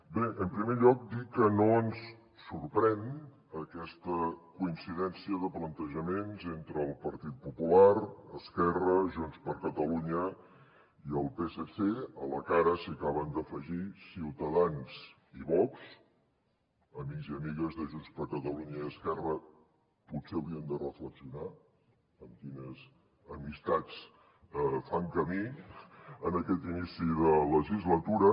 bé en primer lloc dir que no ens sorprèn aquesta coincidència de plantejaments entre el partit popular esquerra junts per catalunya i el psc a la que ara s’hi acaben d’afegir ciutadans i vox amics i amigues de junts per catalunya i esquerra potser haurien de reflexionar amb quines amistats fan camí en aquest inici de legislatura